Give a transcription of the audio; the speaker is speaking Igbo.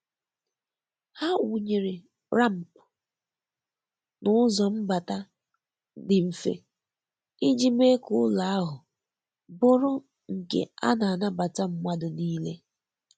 Ha wụnyere ramp na ụzọ mbata dị mfe iji mee ka ụlọ ahụ bụrụ nke a na-anabata mmadụ niile